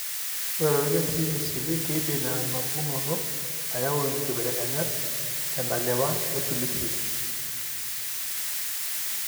Ore toorkesii misili, keidim enapukunoto ayau inkibelekenyat tentalipa eFLCNe.